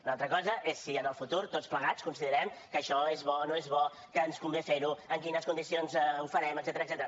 una altra cosa és si en el futur tots plegats considerem que això és bo no és bo que ens convé fer ho en quines condicions ho farem etcètera